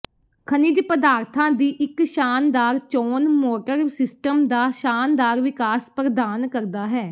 ਖਣਿਜ ਪਦਾਰਥਾਂ ਦੀ ਇੱਕ ਸ਼ਾਨਦਾਰ ਚੋਣ ਮੋਟਰ ਸਿਸਟਮ ਦਾ ਸ਼ਾਨਦਾਰ ਵਿਕਾਸ ਪ੍ਰਦਾਨ ਕਰਦਾ ਹੈ